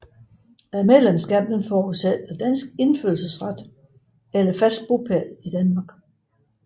Medlemskab forudsætter dansk indfødsret eller fast bopæl i Danmark